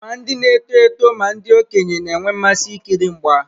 Ma ndị na-eto eto ma ndị okenye na-enwe mmasị ikiri mgba.